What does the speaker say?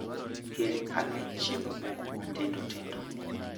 Kel ane chiemo moko matindo tindo.